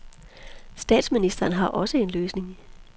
Statsministeren har også en løsning.